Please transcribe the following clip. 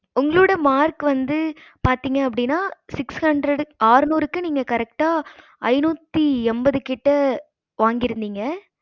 உங்களோட mark வந்து பாத்திங்கன்ன அப்படின்னா six hundred ஆறுனுருக்கு நீங்க correct ஐனுத்தி எம்பது கிட்ட வாங்கிருந்திங்க